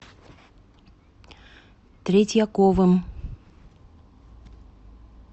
третьяковым